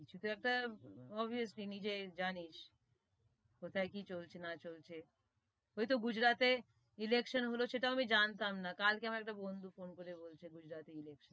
কিছু তো একটা obviously নিজেই জানিস, কোথায় কি চলছে না চলছে, ওই তো গুজরাটে election হলো, সেটাও আমি জানতাম না, কাল কে আমার একটা বন্ধু ফোন করে বলছে গুজরাটে election.